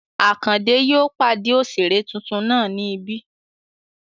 Àkàndé yóò pàdé òṣèré tuntun náà ní ibí